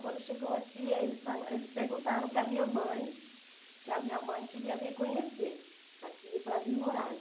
Quando chegou aqui, aí eles fa eles perguntaram para a minha mãe se a minha mãe queria vir conhecer aqui para vir morar.